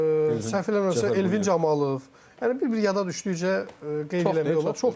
Səhv eləmirəmsə Elvin Camalov, yəni bir-bir yada düşdükcə qeyd eləmək olar, çoxdurlar.